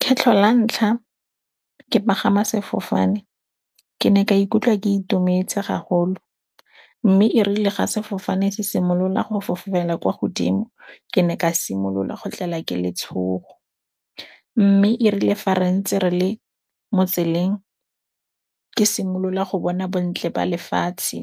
Kgetlho la ntlha ke pagama sefofane ke ne ka ikutlwa ke itumetse gagolo, mme irile ga sefofane se simolola go fofela kwa godimo ke ne ka simolola go tlelwa ke letshogo. Mme irile fa re ntse re le mo tseleng, ke simolola go bona bontle ba lefatshe,